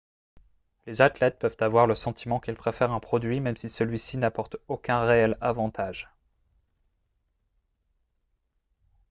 les athlètes peuvent avoir le sentiment qu'ils préfèrent un produit même si celui-ci n'apporte aucun réel avantage